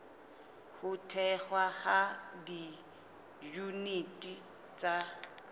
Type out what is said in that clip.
ho thehwa ha diyuniti tsa